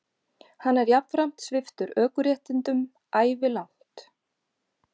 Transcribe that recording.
Hann er jafnframt sviptur ökuréttindum ævilangt